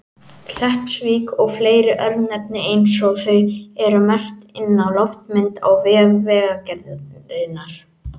Kleppsvík og fleiri örnefni eins og þau eru merkt inn á loftmynd á vef Vegagerðarinnar.